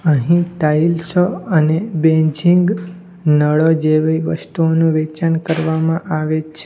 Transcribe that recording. અહીં ટાઇલ્સો અને બેઝીંગ નળો જેવી વસ્તુનું વેચાણ કરવામાં આવે છે.